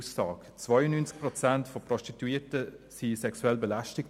92 Prozent der Prostituierten wurden sexuell belästigt.